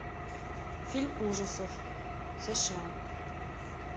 фильм ужасов сша